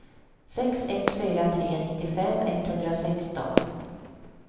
sex ett fyra tre nittiofem etthundrasexton